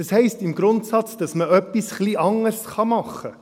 Das heisst im Grundsatz, dass man etwas ein wenig anders machen kann.